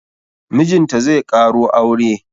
Mijinta zai ƙaro aure